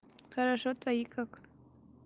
хорошо твои как